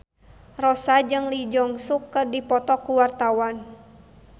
Rossa jeung Lee Jeong Suk keur dipoto ku wartawan